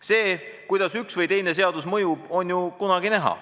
"See, kuidas üks või teine seadus või tegu mõjub, on ju kunagi näha.